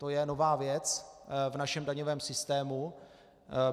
To je nová věc v našem daňovém systému.